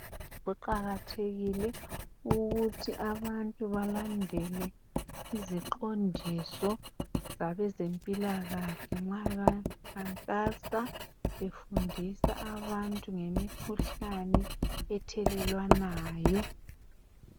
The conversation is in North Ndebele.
Kuqakathekile ukuthi abantu balandele iziqondiso zabezempilakahle nxa bakhankasa befundisa abantu ngemikhuhlane ethelelwanayo